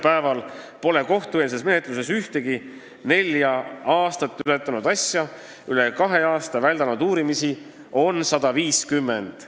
Praegu pole kohtueelses menetluses ühtegi nelja aastat ületanud asja ja üle kahe aasta väldanud uurimisi on 150.